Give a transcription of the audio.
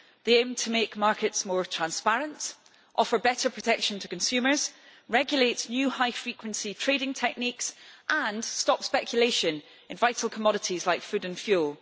They aim to make markets more transparent, offer better protection to consumers, regulate new high frequency trading techniques and stop speculation in vital commodities like food and fuel.